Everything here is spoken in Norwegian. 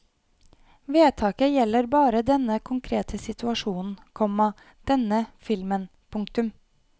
Vedtaket gjelder bare denne konkrete situasjonen, komma denne filmen. punktum